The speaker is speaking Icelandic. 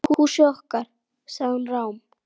Húsið okkar.- sagði hún rám.